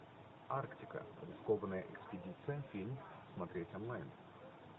арктика рискованная экспедиция фильм смотреть онлайн